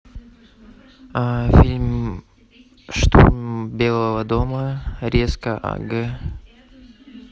фильм штурм белого дома резка аг